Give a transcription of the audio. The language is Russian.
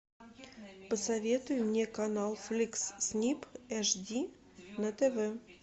посоветуй мне канал фликс снип эш ди на тв